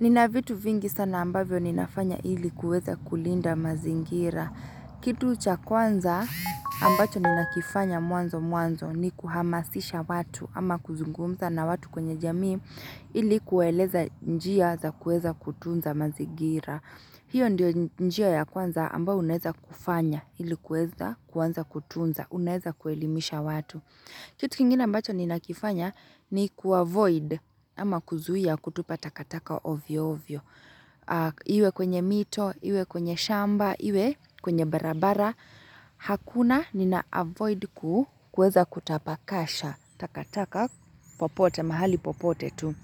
Nina vitu vingi sana ambavyo ninafanya ili kuweza kulinda mazingira. Kitu cha kwanza ambacho ninakifanya mwanzo mwanzo ni kuhamasisha watu ama kuzungumza na watu kwenye jamii ili kuwaeleza njia za kueza kutunza mazingira. Hio ndio njia ya kwanza ambao uneza kufanya ili kueza kwanza kutunza uneza kuelimisha watu. Kitu kingina mbacho ninakifanya ni kuavoid ama kuzuhia kutupa takataka ovyo ovyo. Iwe kwenye mito, iwe kwenye shamba, iwe kwenye barabara. Hakuna ni naavoid kuweza kutapakasha takataka popote mahali popote tu.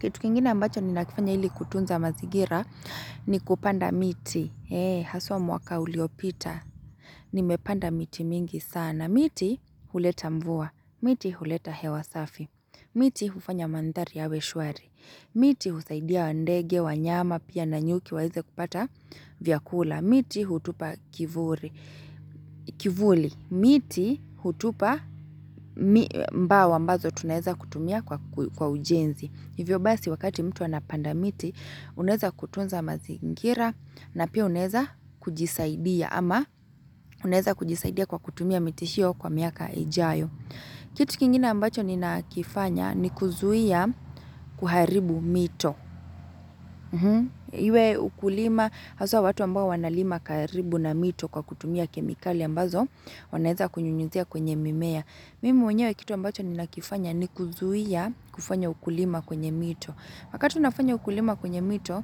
Kitu kingina mbacho ni nakifanya ili kutunza mazigira ni kupanda miti. Ee, haswa mwaka uliopita. Nimepanda miti mingi sana. Miti huleta mvua. Miti huleta hewa safi. Miti hufanya mandHari yawe shwari. Miti husaidia ndege, wanyama, pia na nyuki waeze kupata vyakula. Miti hutupa kivuli. Miti hutupa mbao ambazo tunaeza kutumia kwa ujenzi. Hivyo basi wakati mtu anapanda miti unaeza kutunza mazingira na pia unaeza kujisaidia ama uneza kujisaidia kwa kutumia miti hio kwa miaka ijayo. Kitu kingina ambacho ninakifanya ni kuzuia kuharibu mito. Iwe ukulima haswa watu ambao wanalima karibu na mito kwa kutumia kemikali ambazo wanaeza kunyunyuzia kwenye mimea. Mimi mwenyewe kitu ambacho nina kifanya ni kuzuia kufanya ukulima kwenye mito. Wakati unafanya ukulima kwenye mito,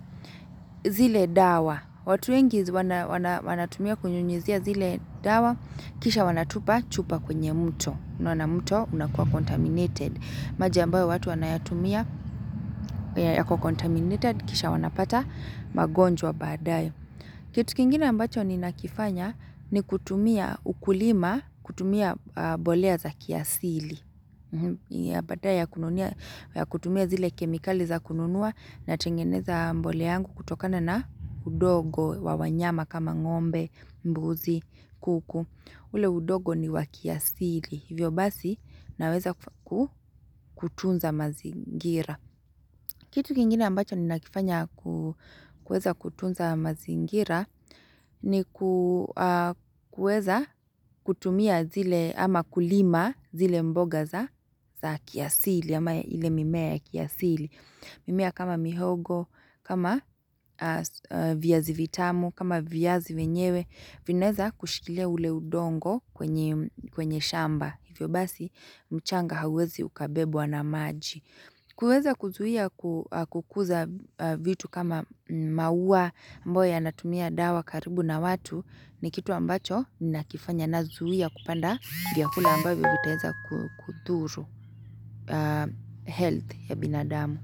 zile dawa, watu wengi wanatumia kunyunyuzia zile dawa, kisha wanatupa chupa kwenye mto, na mto unakuwa contaminated, maji ambayo watu wanayatumia yako contaminated, kisha wanapata magonjwa badaye. Kitu kingina ambacho ninakifanya ni kutumia ukulima, kutumia mbolea za kiasili. Baada ya kutumia zile kemikali za kununua na tengeneza mbolea yangu kutokana na udogo wa wanyama kama ngombe, mbuzi, kuku. Ule udogo ni wakiasili. Hivyo basi naweza kutunza mazingira. Kitu kiengina ambacho ni nakifanya kueza kutunza mazingira ni kueza kutumia zile ama kulima zile mboga za kiasili ama ile mimea ya kiasili. Mimea kama mihogo, kama viazi vitamu, kama viaazi vyenyewe. Vineza kushikilia ule udongo kwenye shamba. Hivyo basi mchanga hawezi ukabebwa na maji. Kuweza kuzuia kukuza vitu kama maua ambayo yanatumia dawa karibu na watu ni kitu ambacho ninakifanya nazuia kupanda vyakula ambayo vitaeza kuthuru health ya binadamu.